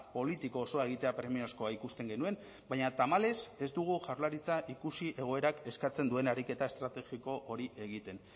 politiko osoa egitea premiazkoa ikusten genuen baina tamalez ez dugu jaurlaritza ikusi egoerak eskatzen duen ariketa estrategiko hori egiten